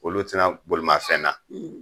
Olu ti na bolimafɛn na.